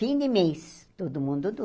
Fim de mês, todo mundo